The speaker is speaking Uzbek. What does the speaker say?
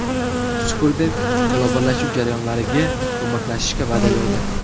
Sukerberg globallashuv jarayonlariga ko‘maklashishga va’da berdi.